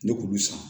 Ne kulu san